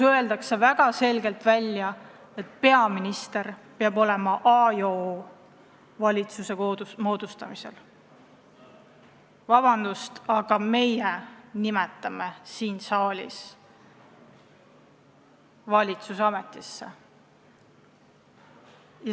Öeldakse väga selgelt välja, et peaminister peab valitsuse moodustamisel olema A ja O. Vabandust, aga meie nimetame siin saalis valitsuse ametisse!